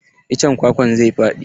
Iccen kwakwan zai faɗi.